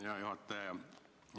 Hea juhataja!